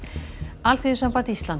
Alþýðusamband Íslands